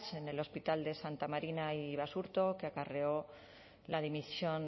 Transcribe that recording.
en el hospital de santa marina y basurto que acarreó la dimisión